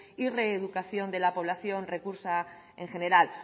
y reeducación de la población reclusa en general